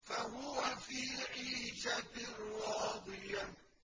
فَهُوَ فِي عِيشَةٍ رَّاضِيَةٍ